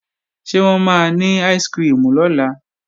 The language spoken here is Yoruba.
Ṣé wọ́n máa ní áìsikirimù lọ́la?